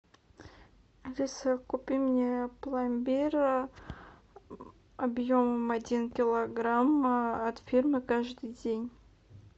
алиса купи мне пломбир объем один килограмм от фирмы каждый день